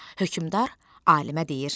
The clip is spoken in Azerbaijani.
Hökmdar alimə deyir: